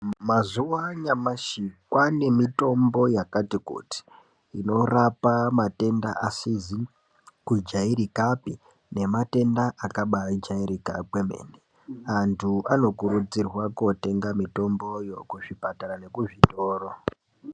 Mazuwa anyamashi kwaane mitombo yakati kuti inorape matenda asizi kujairikapi nematenda akabaajairika kwemene. Antu anokurudzirwa kootenga mitomboyo kuzvipatara nekuzvitoro.